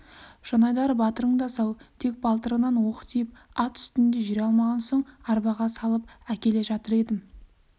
жанайдар батырың да сау тек балтырынан оқ тиіп ат үстінде жүре алмаған соң арбаға салып әкеле жатыр едім